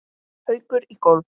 Haukur í golf.